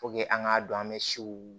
an k'a dɔn an bɛ sew